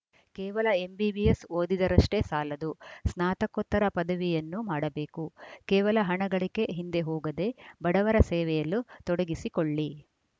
ಕೇವಲ ಎಂಬಿಬಿಎಸ್‌ ಓದಿದರಷ್ಟೇ ಸಾಲದು ಸ್ನಾತಕೋತ್ತರ ಪದವಿಯನ್ನೂ ಮಾಡಬೇಕು ಕೇವಲ ಹಣ ಗಳಿಕೆ ಹಿಂದೆ ಹೋಗದೇ ಬಡವರ ಸೇವೆಯಲ್ಲು ತೊಡಗಿಸಿಕೊಳ್ಳಿ